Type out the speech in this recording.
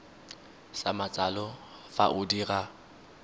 sa matsalo fa o dira